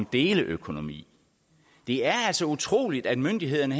deleøkonomi det er altså utroligt at myndighederne